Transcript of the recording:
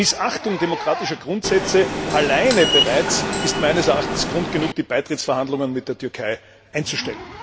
Diese Missachtung demokratischer Grundsätze allein ist meines Erachtens bereits Grund genug, die Beitrittsverhandlungen mit der Türkei einzustellen.